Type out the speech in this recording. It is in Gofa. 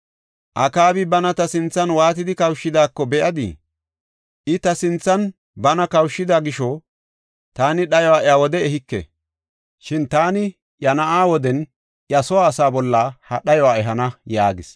“Akaabi bana ta sinthan waatidi kawushidaako be7adii? I ta sinthan bana kawushida gisho, taani dhayuwa iya wode ehike. Shin taani iya na7aa woden iya soo asaa bolla ha dhayuwa ehana” yaagis.